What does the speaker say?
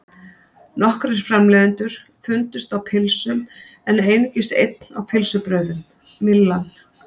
Nokkrir framleiðendur fundust á pylsum en einungis einn á pylsubrauðum, Myllan.